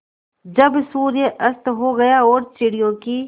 जब सूर्य अस्त हो गया और चिड़ियों की